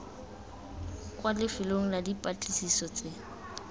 kwa lefelong la dipatlisiso tse